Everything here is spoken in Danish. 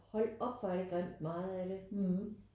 Hold op hvor er det grimt meget af det